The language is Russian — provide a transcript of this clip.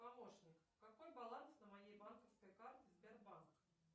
помощник какой баланс на моей банковской карте сбербанк